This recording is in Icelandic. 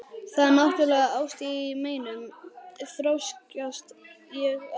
Það er náttúrlega ást í meinum, þrjóskast ég áfram.